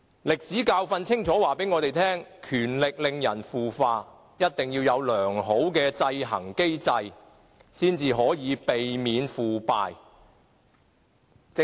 歷史教訓清楚告訴我們，權力令人腐化，一定要有良好的制衡機制，方能避免腐敗。